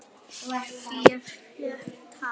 Fía fékk tak.